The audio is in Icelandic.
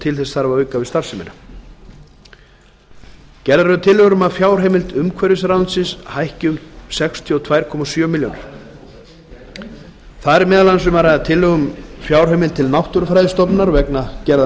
til þess þarf að auka við starfsemina gerðar eru tillögur um að fjárheimild umhverfisráðuneytis hækki um sextíu og tvö komma sjö milljónir króna þar er meðal annars um að ræða tillögu um fjárheimild til náttúrufræðistofnunar vegna gerðar